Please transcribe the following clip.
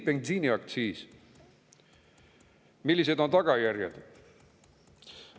Millised on tagajärjed?